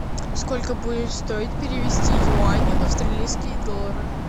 сколько будет стоить перевести юани в австралийские доллары